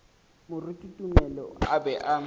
moruti tumelo a be a